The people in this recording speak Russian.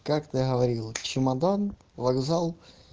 как ты говорила чемодан вокзал